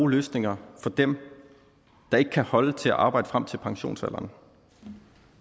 løsninger for dem der ikke kan holde til at arbejde frem til pensionsalderen